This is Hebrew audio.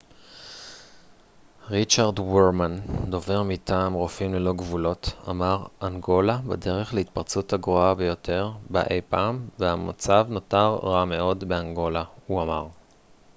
ריצ'רד ורמן דובר מטעם רופאים ללא גבולות אמר אנגולה בדרך להתפרצות הגרועה ביותר בה אי פעם והמצב נותר רע מאוד באנגולה הוא אמר